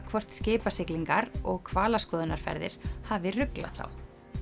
hvort skipasiglingar og hvalaskoðunarferðir hafi ruglað þá